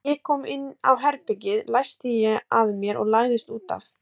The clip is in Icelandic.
Þegar ég kom inn á herbergið læsti ég að mér og lagðist út af.